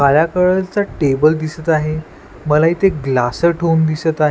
काळा कळलचा टेबल दिसत आहे मला इथे ग्लास च ठेवून होऊन दिसत आहे.